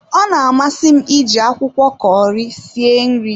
Ọ na amasi m iji akwụkwọ Kọri sie nri